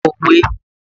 Pa òwe!